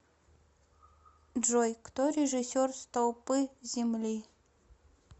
джой кто режиссер столпы земли